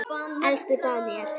Elsku Daníel.